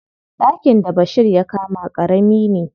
Ɗakin da Bashir ya kama ƙarami ne.